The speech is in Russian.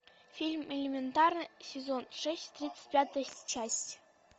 фильм элементарно сезон шесть тридцать пятая часть